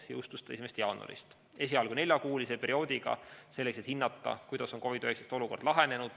Jõustus see 1. jaanuaril, esialgu neljakuuliseks perioodiks, et hinnata, kuidas on COVID‑19 olukord lahenenud.